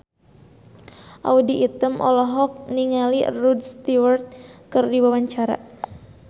Audy Item olohok ningali Rod Stewart keur diwawancara